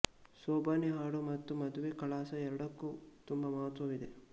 ಸೋಬಾನೆ ಹಾಡು ಮತ್ತು ಮದುವೆ ಕಳಸ ಎರಡಕ್ಕೂ ತುಂಬ ಮಹತ್ವವಿದೆ